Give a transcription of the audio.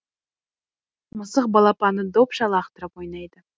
мысық балапанды допша лақтырып ойнайды